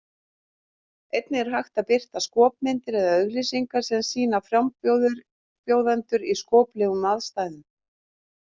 Einnig er hægt að birta skopmyndir eða auglýsingar sem sýna frambjóðendur í skoplegum aðstæðum.